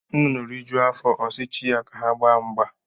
Nnụnụ rijuo afọ ọsi chi ya ka ha gbaa mgba